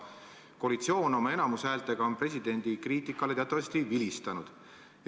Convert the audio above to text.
Koalitsioon oma enamushäältega on presidendi kriitikale teatavasti vilistanud.